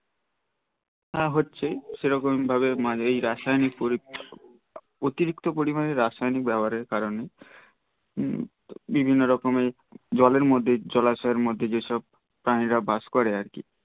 হ্যা হচ্ছে সেরকম ভাবে এই রাসায়নিক অতিরিক্ত পরিমানে রাসায়নিক ব্যবহারের কারণে হম বিভিন্ন রকম এর জলের এর মধ্যে জলাশয়ের মধ্যে যেসব প্রাণীরা বাস করে আর কি